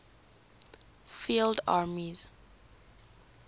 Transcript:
field armies